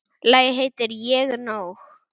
Lagið heitir Ég er nóg.